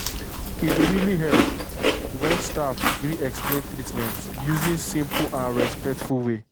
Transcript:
e really dey help when staff gree explain treatment using simple and respectful way.